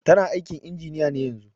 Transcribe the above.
Tana aikin injiniya ne yanzun.